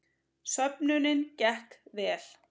Söfnunin gekk vel